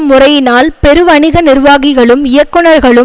முறையினால் பெருவணிக நிர்வாகிகளும் இயக்குனர்களும்